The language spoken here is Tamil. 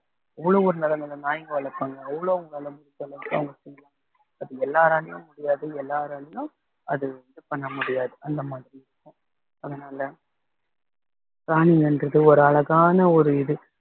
அவ்வளவு ஒரு நல்ல நல்ல நாய்ங்க வளர்ப்பாங்க அவ்வளவு அங்களால முடிஞ்ச அளவுக்கு அவங்க செய்யலாம் but எல்லாராலையும் முடியாது எல்லாராலயும் அது வந்து பண்ண முடியாது அந்த மாதிரி இருக்கும் அதனால பிராணின்றது ஒரு அழகான ஒரு இது